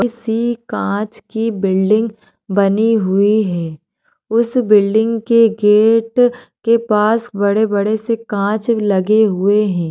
किसी कांच की बिल्डिंग बनी हुई है उस बिल्डिंग के गेट के पास बड़े बड़े से कांच लगे हुए है।